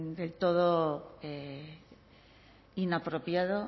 del todo inapropiado